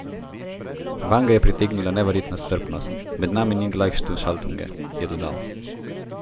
Vanj ga je pritegnila neverjetna strpnost: 'Med nami ni 'glajhšaltunge',' je dodal.